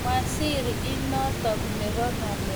Waziri inotok nebo ng'alekab toek komache Iran kometo melinotok